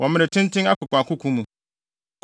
wɔ mmere tenten akokoakoko mu.